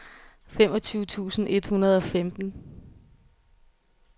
femogtyve tusind et hundrede og femten